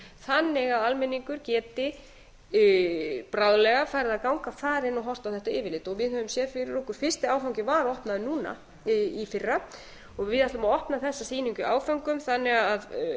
þannig að almenningur geti bráðlega farið að ganga þar inn og horft á þetta yfirlit við höfum séð fyrir okkur að fyrsti áfangi var opnaður núna í fyrra og við ætlum að opna þessa sýningu í áföngum þannig að